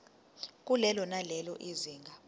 kulelo nalelo zinga